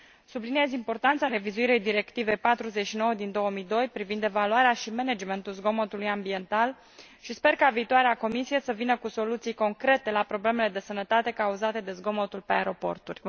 Subliniez importanța revizuirii Directivei 49 din 2002 privind evaluarea și managementul zgomotului ambiental și sper ca viitoarea Comisie să vină cu soluții concrete la problemele de sănătate cauzate de zgomotul pe aeroporturi.